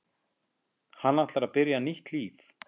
Hann ætlar að byrja nýtt líf.